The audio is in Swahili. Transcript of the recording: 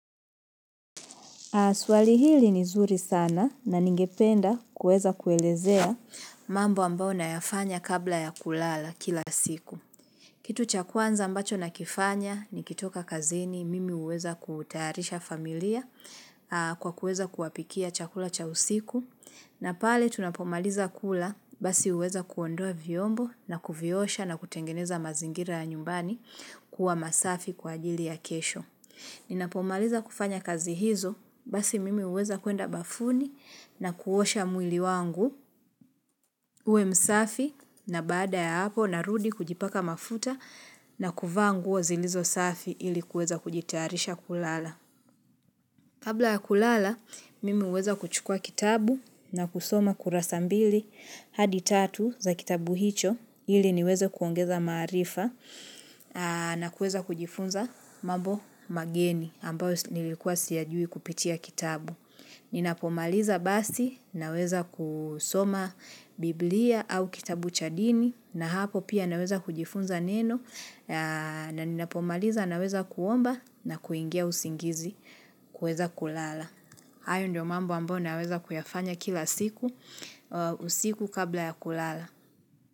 Swali hili ni zuri sana na ningependa kueza kuelezea mambo ambayo nayafanya kabla ya kulala kila siku. Kitu cha kwanza ambacho nakifanya nikitoka kazini mimi huweza kutayarisha familia kwa kueza kuwapikia chakula cha usiku. Na pale tunapomaliza kula basi huweza kuondoa viombo na kuviosha na kutengeneza mazingira ya nyumbani kuwa masafi kwa ajili ya kesho. Ninapomaliza kufanya kazi hizo basi mimi huweza kuenda bafuni na kuosha mwili wangu ue msafi na baada ya hapo narudi kujipaka mafuta na kuvaa nguo zilizo safi ili kuweza kujitarisha kulala. Kabla ya kulala, mimi huweza kuchukua kitabu na kusoma kurasa mbili hadi tatu za kitabu hicho ili niweze kuongeza maarifa na kueza kujifunza mambo mageni ambayo nilikuwa siyajui kupitia kitabu. Ninapomaliza basi naweza kusoma Biblia au kitabu chadini na hapo pia naweza kujifunza neno na ninapomaliza naweza kuomba na kuingia usingizi kuweza kulala. Hayo ndio mambo ambao naweza kuyafanya kila siku, usiku kabla ya kulala.